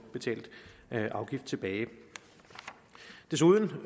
betalt afgift tilbage desuden